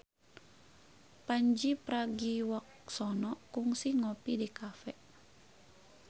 Pandji Pragiwaksono kungsi ngopi di cafe